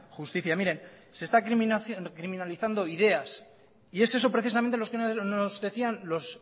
justicia mire se están criminalizando ideas y es eso precisamente lo que nos decían los